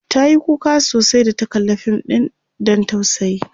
tayi kuka sosai da ta kalla Fim ɗin Dan tausayi